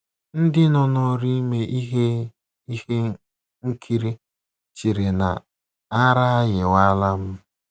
Ndị nọ n’ọrụ ime ihe ihe nkiri chere na ara ayịwala m.